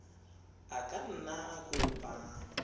a ka nna a kopa